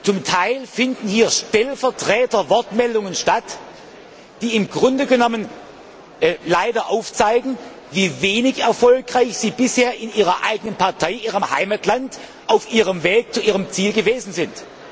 Zum Teil finden hier Stellvertreterwortmeldungen statt, die im Grunde genommen leider zeigen, wie wenig erfolgreich diese Vertreter bisher in ihrer eigenen Partei in ihrem Heimatland auf ihrem Weg zu ihrem Ziel gewesen sind.